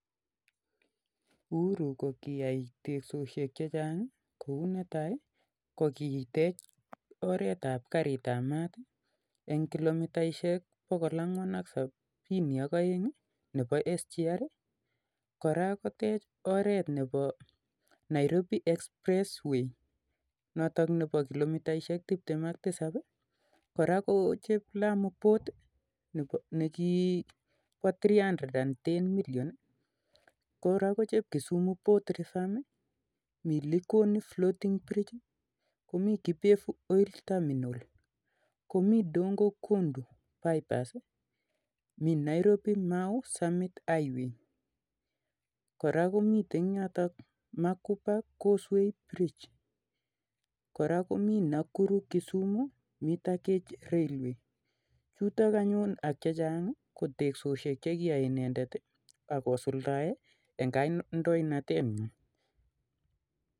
Uhuru ko kiyai teksoshek chechang kouu netai ko kiteech oretap gariit ap maat eng kilomitaishek bokol angwan ak sabini ak oeng nebo sgr koraa kotech oret nebo 'Nairobi express 'way' notok nebo kilomitaishek tiptem ak tisap koraa kochep lamu port ak Kisumu port revamp mii likoni 'floating bridge'mii 'kipevu oil terminal' 'Nairobi -mau summit highway'Nakuru-kisumu mete gauge railway'